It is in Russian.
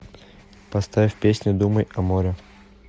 поставь песня думай о море